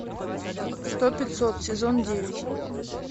сто пятьсот сезон девять